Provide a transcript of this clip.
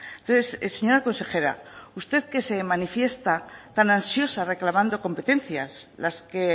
entonces señora consejera usted que se manifiesta tan ansiosa reclamando competencias las que